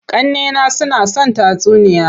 Ƙannena suna son tatsuniya.